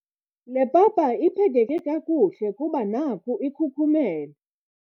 Le papa iphekeke kakuhle kuba naku ikhukhumele.